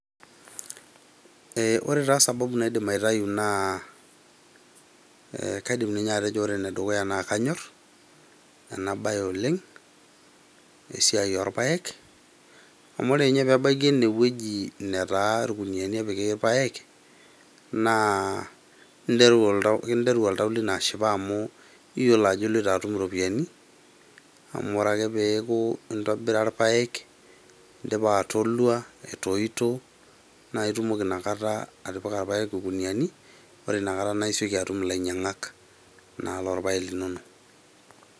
Ee ore taa sababu naidim aitayu naa kaidim atejo ore ninye ena siai naa kanyor , amu ore ninye pebaiki ene wueji netaa irkuniani epiki irpaek naa kinteru oltau , kiteru oltau lino ashipa amu iyiolou ajo iloito atum irpaek, amu ore ake peaku intobira irpaek , indipa atolua , etoito naa itumoki inakata atipika irpaek irkuniani , ore inakata naa isioki atum ilainyiangak naa lorpaek linonok.